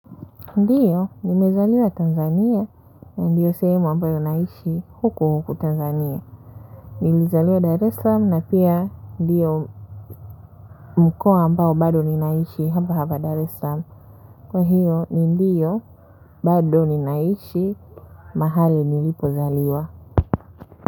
Ndiyo, nimezaliwa Tanzania, na ndiyo sehemu ambayo naishi huku huku Tanzania. Nilizaliwa Dar es salaam na pia ndiyo mkoa ambayo bado ninaishi hapa hapa Dar es salaam. Kwa hiyo, ni ndiyo bado ninaishi mahali nilipozaliwa.